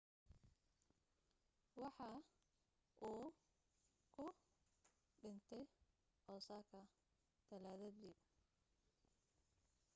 waxa uu ku dhintay osaka talaadadii